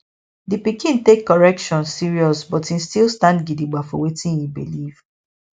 di pikin take correction serious but im still stand gidigba for wetin e believe